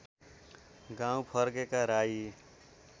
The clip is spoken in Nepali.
गाउँ फर्केका राई